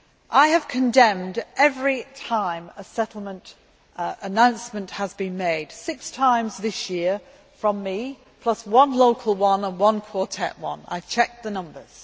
I have condemned it every time a settlement announcement has been made six times this year from me, plus one local one and one Quartet one. I have checked the numbers.